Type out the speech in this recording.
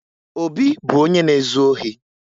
Obi bụ onye na-ezu ohi